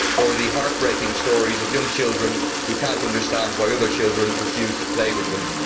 or the heart breaking stories of young children who cannot understand why other children refuse to play with them.